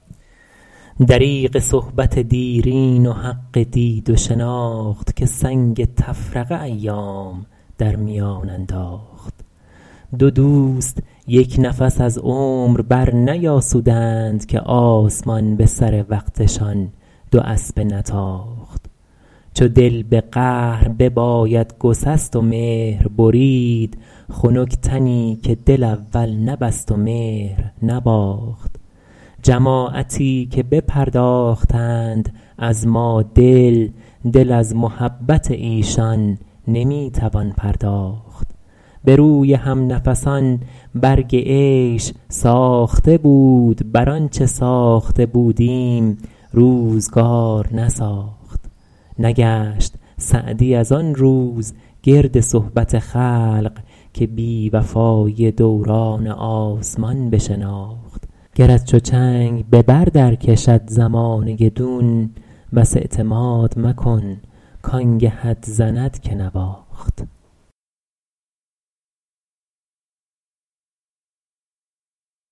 دریغ صحبت دیرین و حق دید و شناخت که سنگ تفرقه ایام در میان انداخت دو دوست یک نفس از عمر برنیاسودند که آسمان به سر وقتشان دو اسبه نتاخت چو دل به قهر بباید گسست و مهر برید خنک تنی که دل اول نبست و مهر نباخت جماعتی که بپرداختند از ما دل دل از محبت ایشان نمی توان پرداخت به روی همنفسان برگ عیش ساخته بود بر آنچه ساخته بودیم روزگار نساخت نگشت سعدی از آن روز گرد صحبت خلق که بی وفایی دوران آسمان بشناخت گرت چو چنگ به بر در کشد زمانه دون بس اعتماد مکن کآنگهت زند که نواخت